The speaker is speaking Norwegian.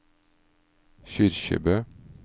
Kyrkjebø